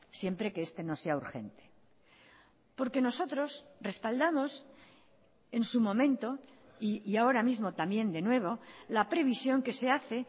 siempre que este no sea urgente porque nosotros respaldamos en su momento y ahora mismo también de nuevo la previsión que se hace